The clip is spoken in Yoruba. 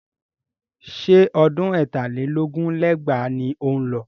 Ṣé ọdún ẹ̀tà lé lógún lé lẹ́gbàá ni ó ń lọ?